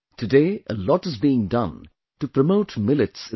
Today a lot is being done to promote Millets in the country